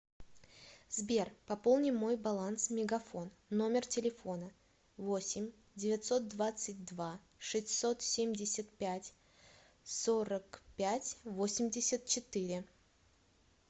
сбер пополни мой баланс мегафон номер телефона восемь девятьсот двадцать два шестьсот семьдесят пять сорок пять восемьдесят четыре